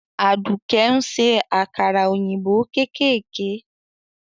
Aduke ń se àkàrà òyìnbó kéékèèké.